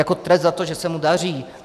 Jako trest za to, že se mu daří.